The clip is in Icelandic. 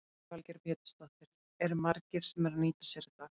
Lillý Valgerður Pétursdóttir: Eru margir sem eru að nýta sér þetta?